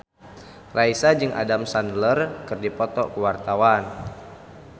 Raisa jeung Adam Sandler keur dipoto ku wartawan